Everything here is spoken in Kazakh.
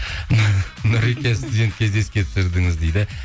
нұреке студенттік кезді еске түсірдіңіз дейді